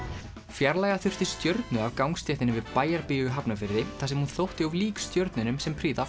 fjarlægja þurfti stjörnu af gangstéttinni við Bæjarbíó í Hafnarfirði þar sem hún þótti of lík stjörnunum sem prýða